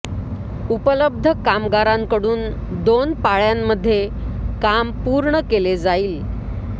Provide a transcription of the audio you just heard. उपलब्ध कामगारांकडून दोन पाळ्यांमध्ये काम पुर्ण केले जाईल